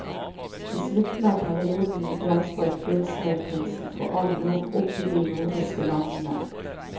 I slutten av perioden blomstret gullsmedkunsten for alvor opp i de nordiske landene.